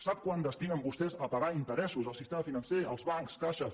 sap quant destinen vostès a pagar interessos al sistema financer als bancs caixes